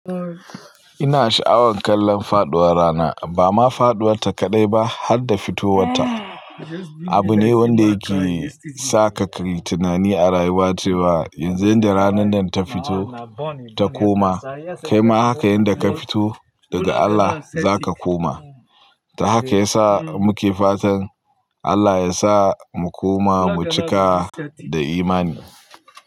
Ina sha'awan kallon faɗuwar rana, ba ma faɗuwarta kaɗai ba har da fitowarta. Abu ne wanda yake sa ka yi tunani a rayuwa cewa yanzu inda ranar nan ta fito ta koma, kai ma haka yanda ka fito daga Allah za ka koma. To haka ya sa muke fatan Allah ya sa mu koma mu cika da imani.